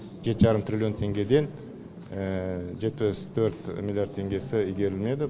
жеті жарым триллион теңгеден жетпіс төрт миллиард теңгесі игерілмеді